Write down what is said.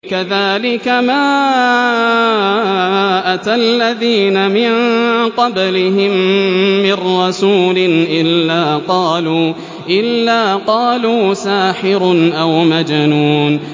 كَذَٰلِكَ مَا أَتَى الَّذِينَ مِن قَبْلِهِم مِّن رَّسُولٍ إِلَّا قَالُوا سَاحِرٌ أَوْ مَجْنُونٌ